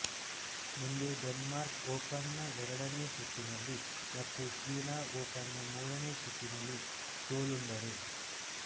ಮುಂದೆ Denmark Open ನ ಎರಡನೇ ಸುತ್ತಿನಲ್ಲಿ ಮತ್ತು ಚೀನಾ ಓಪನ್ ನ ಮೂರನೆ ಸುತ್ತಿನಲ್ಲಿ ಸೋಲುಂಡರು